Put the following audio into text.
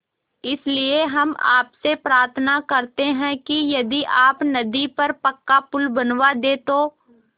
इसलिए हम आपसे प्रार्थना करते हैं कि यदि आप नदी पर पक्का पुल बनवा दे तो